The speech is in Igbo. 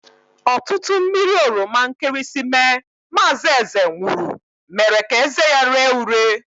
Ọtụtụ mmiri oroma nkịrịsịmee mazi Eze nwuru mere ka eze ya ree ure.